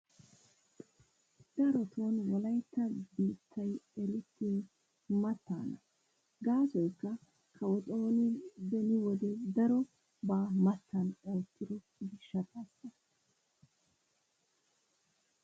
Darotoo wolaytta biittayi erettiyoyi mattaana. Gaasoyikka kawo xooni beni wode darobaa mattan oottido gishshataassa.